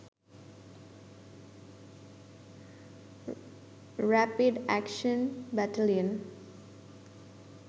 rapid action battalion